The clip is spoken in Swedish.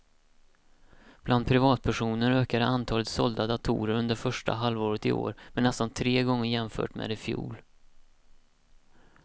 Bland privatpersoner ökade antalet sålda datorer under första halvåret i år med nästan tre gånger jämfört med i fjol.